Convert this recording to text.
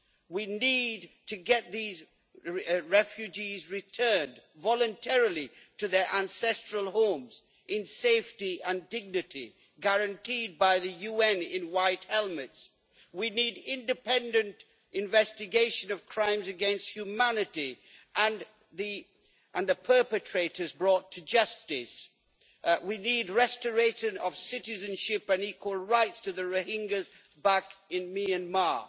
We need to get these refugees returned voluntarily to their ancestral homes in safety and dignity guaranteed by the UN in white helmets. We need independent investigation of crimes against humanity and the perpetrators brought to justice. We need restoration of citizenship and equal rights to the Rohingyas back in Myanmar.